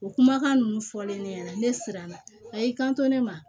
O kumakan ninnu fɔlen ne ɲɛna ne siranna a y'i kanto ne ma